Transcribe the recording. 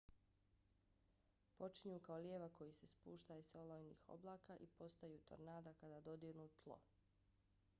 počinju kao lijevak koji se spuštaj s olujnih oblaka i postaju tornada kada dodirnu tlo